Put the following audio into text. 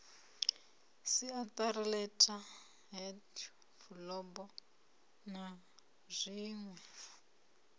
siatari letterheads fulubo na zwinwe